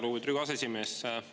Lugupeetud Riigikogu aseesimees!